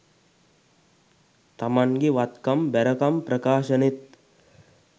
තමන්ගෙ වත්කම් බැරකම් ප්‍රකාශනෙත්